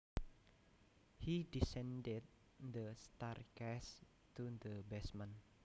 He descended the staircase to the basement